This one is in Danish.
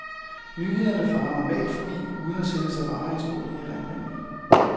Nyhederne farer normalt forbi uden at sætte sig varige spor i erindringen.